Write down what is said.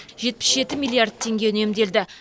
жетпіс жеті миллиард теңге үнемделді